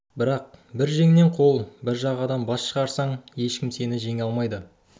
бірақ бір жеңнен қол бір жағадан бас шығарсаң ешкім сені жеңе алмайды